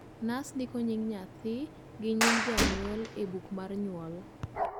nas ndiko nying nyathi go nying janyuol e buk mar nyuol